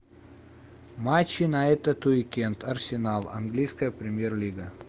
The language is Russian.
матчи на этот уикенд арсенал английская премьер лига